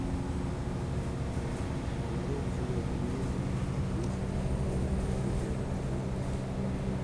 нарой кино винил одиннадцатый сезон серия тринадцать